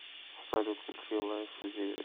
салют включи лайф зиверт